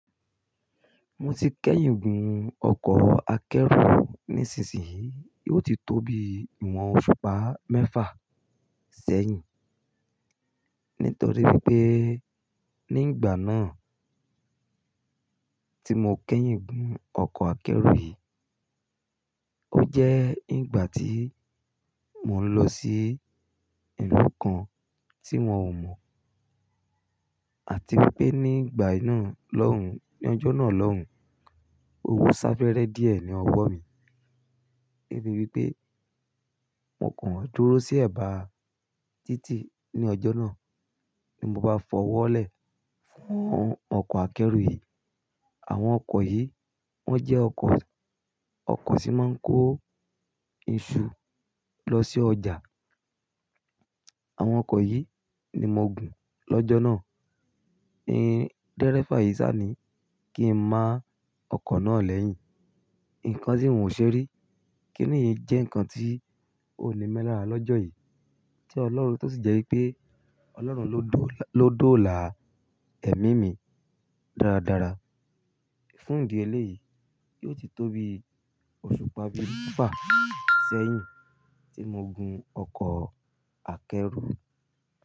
Mo ti kẹ́yìn gùn ọkọ̀ akẹ́rù níṣinyìí, yóò ti tóbi ìwọ̀n òṣùpá mẹ́fà sẹ́yìn. Nítorí pé ní ìgbà náà tí mo kẹ́yìn gùn ọkọ̀ akẹ́rù yìí, ó jẹ́ ìgbà tí mo ń lọ sí ìlú kan tí wọn ò mọ̀. Àti wípé ní ìgbà iná lọ́hùn, ní ọjọ́ náà lọ́hùn, owó sá fẹ́rẹ́ díẹ̀ ní ọwọ́ mi. Débi wípé mo kàn dúró sí ẹ̀bá títì ní ọjọ́ náà, bí mo bá fọwọ́ lẹ̀ fún ọkọ̀ akẹ́rù yìí. Àwọn ọkọ̀ yìí, wọ́n jẹ́ ọkọ̀, ọkọ̀ tí máa ń kó iṣu lọ sí ọjà. Àwọn ọkọ̀ yìí ni mo gùn lọ́jọ́ náà. Ni dẹ́rẹ́fà yìí sá ni kí n má ọkọ̀ náà lẹ́yìn. Nǹkan tí n ò ṣe rí, kí nìí jẹ́ ǹkan tí ò ní mẹ́lá lọ́jọ́ yìí tí Ọlọ́run tó sì jẹ́ wípé Ọlọ́run ló dóòlà ẹ̀mí mi dáradára. Fún ìdí eléyìí, yóò ti tóbi òṣùpá bíi mẹ́fà sẹ́yìn tí mo gun ọkọ̀ akẹ́rù.